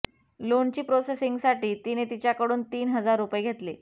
लोनची प्रोसेसिंगसाठी तिने तिच्याकडून तीन हजार रुपये घेतले